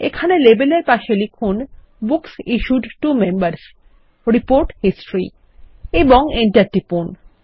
এখানে লেবেল এর পাশে লিখুনBooks issued to Members report history এবং Enter টিপুন